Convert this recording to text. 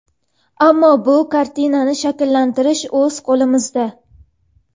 Ammo, bu "kartinani" shakllantirish o‘z qo‘limizda.